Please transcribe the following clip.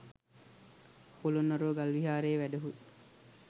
පොළොන්නරුව ගල් විහාරයේ වැඩහුන්